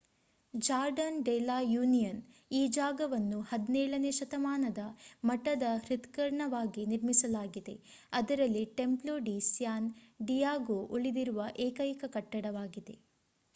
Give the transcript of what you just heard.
Jordan de la Union ಈ ಜಾಗವನ್ನು 17 ನೇ ಶತಮಾನದ ಮಠದ ಹೃತ್ಕರ್ಣವಾಗಿ ನಿರ್ಮಿಸಲಾಗಿದೆ ಅದರಲ್ಲಿ ಟೆಂಪ್ಲೊ ಡಿ ಸ್ಯಾನ್ ಡಿಯಾಗೋ ಉಳಿದಿರುವ ಏಕೈಕ ಕಟ್ಟಡವಾಗಿದೆ